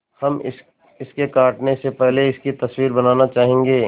हम इसके कटने से पहले इसकी तस्वीर बनाना चाहेंगे